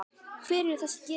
Hver eru þessi gildi?